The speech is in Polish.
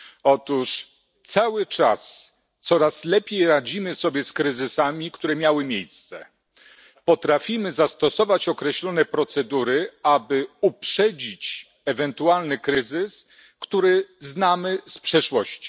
Otóż cały czas coraz lepiej radzimy sobie z kryzysami, które miały miejsce, i potrafimy zastosować określone procedury, aby uprzedzić ewentualny kryzys, który znamy z przeszłości.